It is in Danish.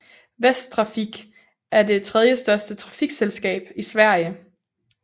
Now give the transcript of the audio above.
Västtrafik er det tredjestørste trafikselskab i Sverige